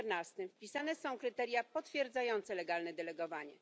14 wpisane są kryteria potwierdzające legalne delegowanie.